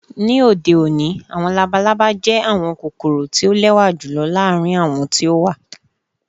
Ni ode oni, awọn labalaba jẹ awọn kokoro ti o lẹwa julọ laarin awọn ti o wa.